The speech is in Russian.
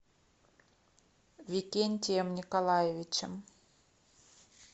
викентием николаевичем